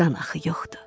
Qan axı yoxdur.